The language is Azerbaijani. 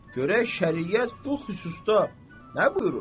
görək şəriət bu xüsusda nə buyurur?